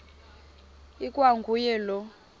ikwa nguye lowo